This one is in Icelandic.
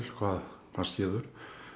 hvað skeður